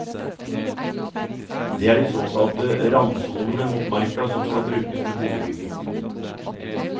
Det er de såkalte randsonene mot marka som skal brukes til boligbygging.